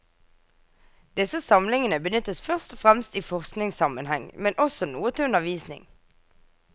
Disse samlingene benyttes først og fremst i forskningssammenheng, men også noe til undervisning.